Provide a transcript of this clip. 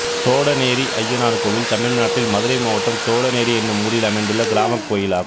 தோடனேரி அய்யனார் கோயில் தமிழ்நாட்டில் மதுரை மாவட்டம் தோடனேரி என்னும் ஊரில் அமைந்துள்ள கிராமக் கோயிலாகும்